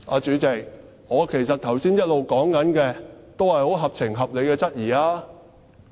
主席，其實我剛才一直說的，也是十分合情合理的質疑......